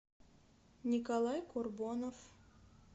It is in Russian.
николай курбонов